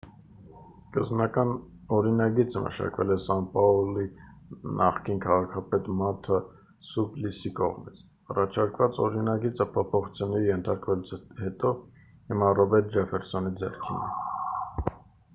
սկզբնական օրինագիծը մշակվել էր սան պաուլոյի նախկին քաղաքապետ մարթա սուպլիսի կողմից առաջարկված օրինագիծը փոփոխությունների ենթարկվելուց հետո հիմա ռոբերտո ջեֆֆերսոնի ձեռքին է